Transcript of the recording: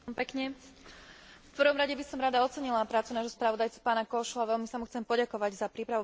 V prvom rade by som rada ocenila prácu nášho spravodajcu pána Kósu a veľmi sa mu chcem poďakovať za prípravu veľmi dobrej správy.